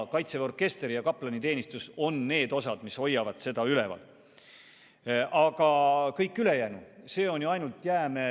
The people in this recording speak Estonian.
Kaitseväe orkester ja kaplaniteenistus on need, mis üleval hoiavad.